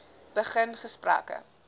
begin gesprekke